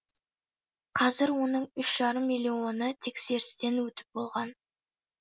қазір оның үш жарым миллионы тексерістен өтіп болған